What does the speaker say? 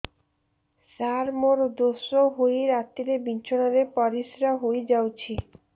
ସାର ମୋର ଦୋଷ ହୋଇ ରାତିରେ ବିଛଣାରେ ପରିସ୍ରା ହୋଇ ଯାଉଛି